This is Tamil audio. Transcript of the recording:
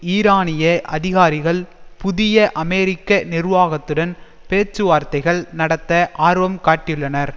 ஈரானிய அதிகாரிகள் புதிய அமெரிக்க நிர்வாகத்துடன் பேச்சுவார்த்தைகள் நடத்த ஆர்வம் காட்டியுள்ளனர்